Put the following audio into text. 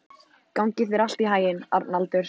Gangi þér allt í haginn, Arnaldur.